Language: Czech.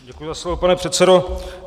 Děkuji za slovo, pane předsedo.